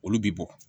Olu bi bɔ